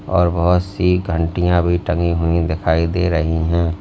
और बहुत सी घंटियां भी टंगी हुई दिखाई दे रही हैं।